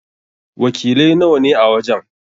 Wakiliai nawa ne a wajen?